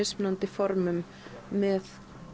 formum með